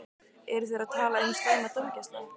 Eru þeir að tala um slæma dómgæslu?